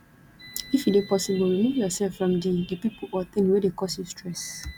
if e dey possible remove yourself from di di pipo or thing wey dey cause you stress